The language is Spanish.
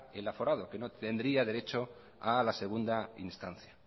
el aforado que no tendría derecho a la segunda instancia